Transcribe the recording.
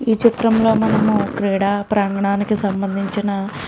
ఈ చిత్రంలో మనం క్రీడా ప్రాంగణానికి సంబంధించిన --